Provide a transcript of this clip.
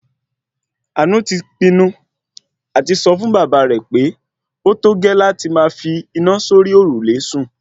Àánú ti pinu àti sọ fún bàbá rẹ̀ pé ótógẹ́ láti máa fi iná sórí òrùlé sùn